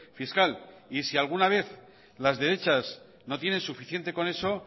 fiscal y si alguna vez las derechas no tienen suficiente con eso